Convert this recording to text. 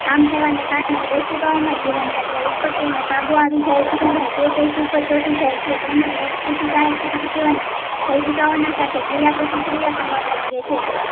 આમ થવા ને કારણે કૌશિકાઓ માં જીવનચક્ર ઉત્પત્તિ ઓ નો કાબુ આવી જાય છે અને તે પેશી ઉપ્પર ચોંટી જાય છે તેમજ રોગપ્રતિકારક શક્તિઓના કોઉસીકાઓ ના સાથે ક્રિયા પ્રતિક્રિયા કરવા લાગે છે